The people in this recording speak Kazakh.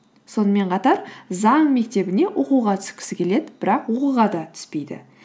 сонымен қатар заң мектебіне оқуға түскісі келеді бірақ оқуға да түспейді